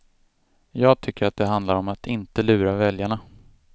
Jag tycker att det handlar om att inte lura väljarna.